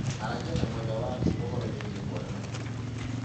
Aragĩa na mwendwa waku ũhoro wĩgiĩ kuonana kĩmwĩrĩ.